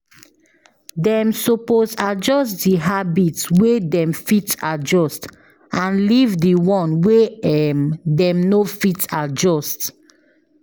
Dem suppose adjust the habits wey them fit adjust and leave the one wey um them no fit adjust